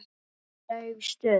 Aldrei dauf stund.